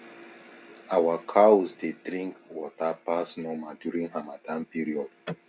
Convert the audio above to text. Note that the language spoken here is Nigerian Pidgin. our cows dey drink water pass normal during harmattan period